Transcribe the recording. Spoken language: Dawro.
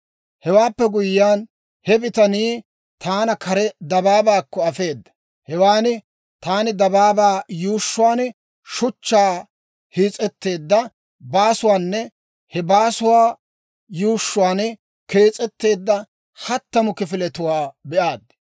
Hewaappe guyyiyaan, he bitanii taana kare dabaabaakko afeeda. Hewan taani dabaabaa yuushshuwaan shuchchaa hiis's'etteedda baasuwaanne he baasuwaa yuushshuwaan kees'etteedda hattamu kifiletuwaa be'aad.